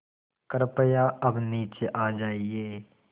कृपया अब नीचे आ जाइये